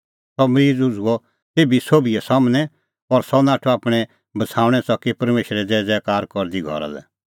सह मरीज़ उझ़ुअ तेभी सोभी सम्हनै खल़अ और सह नाठअ आपणैं बछ़ाऊणैं च़की परमेशरे ज़ैज़ैकारा करदी घरा लै